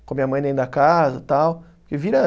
com a minha mãe dentro da casa e tal. Porque vira